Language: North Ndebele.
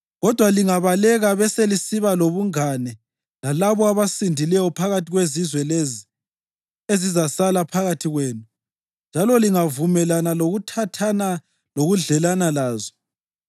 Kodwa lingabaleka beselisiba lobungane lalabo abasindileyo phakathi kwezizwe lezi ezizasala phakathi kwenu njalo lingavumelana lokuthathana lokudlelana lazo,